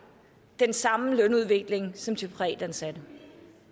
den samme lønudvikling som de privatansatte